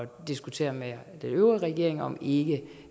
diskutere med den øvrige regering om ikke